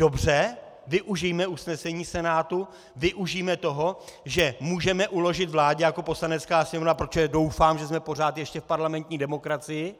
Dobře, využijme usnesení Senátu, využijme toho, že můžeme uložit vládě jako Poslanecká sněmovna, protože doufám, že jsme pořád ještě v parlamentní demokracii